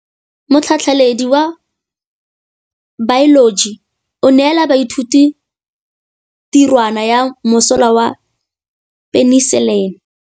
Motlhatlhaledi wa baeloji o neela baithuti tirwana ya mosola wa peniselene.